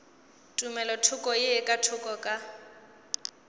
tumelothoko ye ka thoko ka